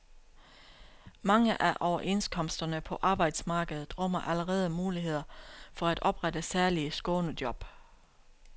Mange af overenskomsterne på arbejdsmarkedet rummer allerede muligheder for at oprette særlige skånejob.